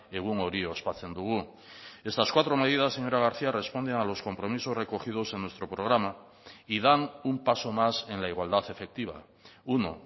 egun hori ospatzen dugu estas cuatro medidas señora garcía responden a los compromisos recogidos en nuestro programa y dan un paso más en la igualdad efectiva uno